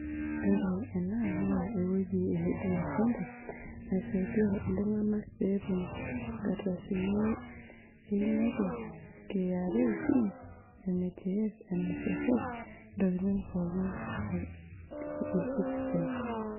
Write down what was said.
Ore ena naa ewoji e huduma centre naisaidia ltunganak peetum nkardasini einoto kra pin, nhif, nssf ntokitin pookin te e citizen.